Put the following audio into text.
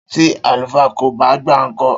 Tí àlùfáà kò ba gba nko?